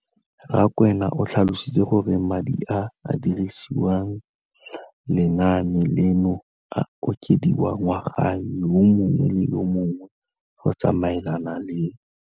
Rakwena o tlhalositse gore madi a a dirisediwang lenaane leno a okediwa ngwaga yo mongwe le yo mongwe go tsamaelana le.